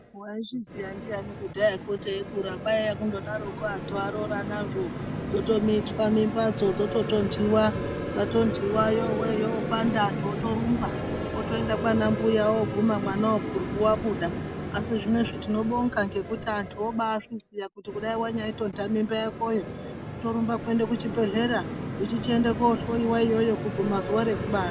Waizvizoya ndiayani kudhayako teikura kwaiya kundodaroko antu arooranazvoo dzotomitwa mimbadzo dzototondiwa dzatondiwa yowe yopanda antu otorumba otoenda kwambuya oguma mwanawo purwu wabuda asi zvinezvi tinobonga ngekuti antu obazviziya kuti kunyai wanyaitonda mimbayakoyo wotorumba kuenda kuchibhedhlera uchichienda kohloiwa iyoyo kuguma zuwa rekubara.